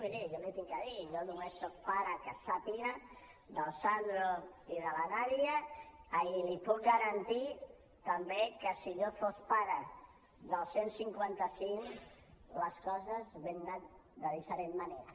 miri jo li he de dir jo només soc pare que sàpiga del sandro i de la nàdia i li puc garantir també que si jo fos pare del cent i cinquanta cinc les coses haurien anat de diferent manera